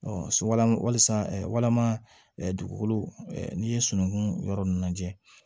so lam walisa walima dugukolow n'i ye sunukun yɔrɔ ninnu lajɛ